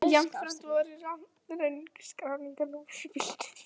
Jafnframt voru röng skráningarnúmer á bílnum